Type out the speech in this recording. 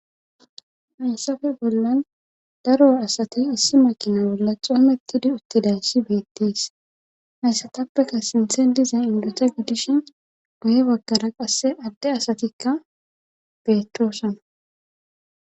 Haysafe bollan daro asati issi makina bolla xoomettidi uttidan si beettees hayssatappeka sinthen diza induta guddishin goye baggara qasse adde asatikka beettoosana.